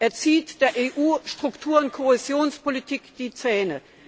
Er zieht der EU Struktur und Kohäsionspolitik die Zähne.